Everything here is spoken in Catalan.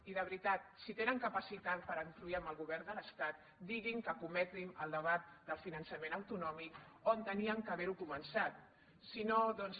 i de veritat si tenen capacitat per influir en el govern de l’estat diguin que escometin el debat del finançament autonòmic on havien d’haver ho començat si no doncs